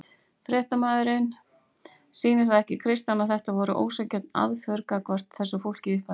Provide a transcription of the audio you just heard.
Fréttamaður: Sýnir það ekki Kristján að þetta voru ósanngjörn aðför gagnvart þessu fólki í upphafi?